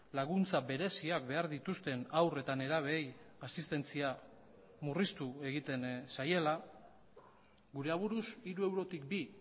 laguntza bereziak behar dituzten haur eta nerabeei asistentzia murriztu egiten zaiela gure aburuz hiru eurotik bi